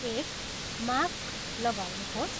एक, मास्क लगाउनुहोस्।